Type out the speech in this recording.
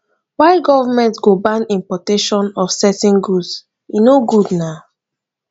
why government go ban importation of certain goods e no good na